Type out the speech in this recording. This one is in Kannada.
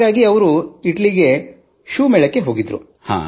ಹಾಗಾಗಿ ಇಟಲಿಗೆ ಮೇಳಕ್ಕೆ ಹೋಗಿದ್ದರು